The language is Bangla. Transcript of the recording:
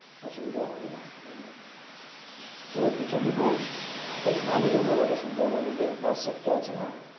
অসুবিধা হবে না তো বিচোন্দিপুর বেশ ভালো জায়গা বটে আমাদের যে পাশে একটা আছে হ্যাঁ